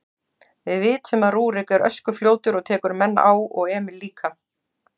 Við vitum að Rúrik er öskufljótur og tekur menn á og Emil líka.